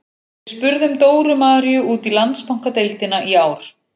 Við spurðum Dóru Maríu út í Landsbankadeildina í ár.